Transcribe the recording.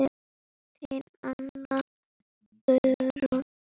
Þín Anna Guðrún.